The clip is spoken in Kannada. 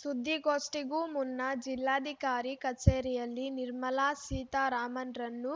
ಸುದ್ದಿಗೋಷ್ಠಿಗೂ ಮುನ್ನ ಜಿಲ್ಲಾಧಿಕಾರಿ ಕಚೇರಿಯಲ್ಲಿ ನಿರ್ಮಲಾ ಸೀತಾರಾಮನ್‌ರನ್ನು